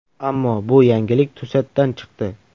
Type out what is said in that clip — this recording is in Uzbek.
Ammo bu yangilik to‘satdan chiqdi.